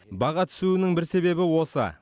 баға түсуінің бір себебі осы